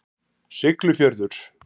Siglufjörður